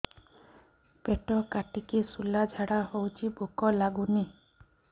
ପେଟ କାଟିକି ଶୂଳା ଝାଡ଼ା ହଉଚି ଭୁକ ଲାଗୁନି